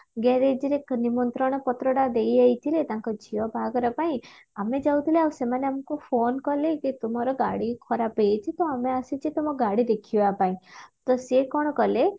ରେ ନିମନ୍ତ୍ରଣ ପତ୍ରଟା ଦେଇଯାଇଥିଲେ ତାଙ୍କ ଝିଅ ବାହାଘର ପାଇଁ ଆମେ ଯାଉଥିଲେ ଆଉ ସେମାନେ ଆମକୁ phone କଲେ କି ତୁମର ଗାଡି ଖରାପ ହେଇଯାଇଛି ତ ଆମେ ଆସିଛେ ତମ ଗାଡି ଦେଖିବା ପାଇଁ ତ ସେ କଣ କଲେ